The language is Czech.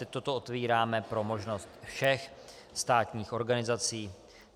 Teď toto otevíráme pro možnost všech státních organizací.